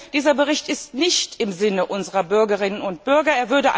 Dieser Bericht ist nicht im Sinne unserer Bürgerinnen und Bürger.